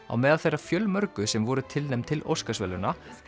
á meðal þeirra fjölmörgu sem voru tilnefnd til Óskarsverðlauna